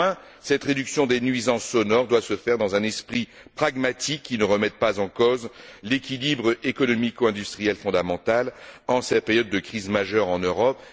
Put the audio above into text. Néanmoins, cette réduction des nuisances sonores doit se faire dans un esprit pragmatique, qui ne remette pas en cause l'équilibre économico industriel fondamental en cette période de crise majeure en Europe.